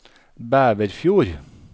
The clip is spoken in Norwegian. Bæverfjord